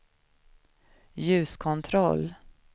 ljuskontroll